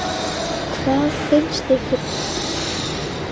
Hvað finnst ykkur?